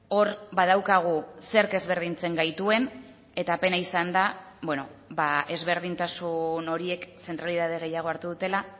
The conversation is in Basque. hor badaukagu zerk ezberdintzen gaituen eta pena izan da ezberdintasun horiek zentralitate gehiago hartu dutela